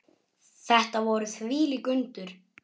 Þetta voru þvílík undur.